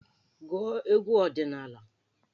Gụọ egwu ọdịnaala!